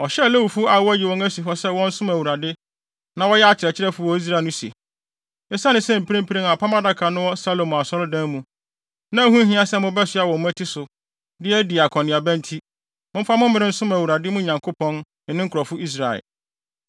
Ɔhyɛɛ Lewifo a wɔayi wɔn asi hɔ sɛ wɔnsom Awurade, na wɔyɛ akyerɛkyerɛfo wɔ Israel no se, “Esiane sɛ mprempren Apam Adaka no wɔ Salomo Asɔredan mu, na ɛho nhia sɛ mobɛsoa wɔ mo mmati so de adi akɔneaba nti, momfa mo mmere nsom Awurade, mo Nyankopɔn ne ne nkurɔfo Israel.